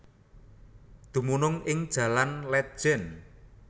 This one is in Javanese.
Dumunung ing Jalan Létjen